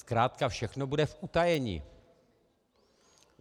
Zkrátka všechno bude v utajení.